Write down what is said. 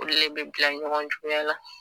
Olu de bi bila ɲɔgɔn juguya la